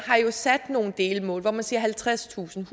har jo sat nogle delmål hvor man siger halvtredstusind